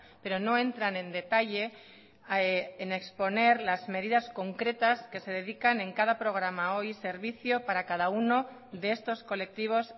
pero no entran en detalle en exponer las medidas concretas que se dedican en cada programa o y servicio para cada uno de estos colectivos